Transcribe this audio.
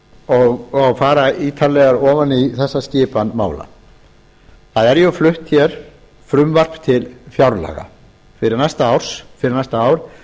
og fara ítarlega ofan í þessa skipan mála það er flutt frumvarp til fjárlaga fyrir næsta ár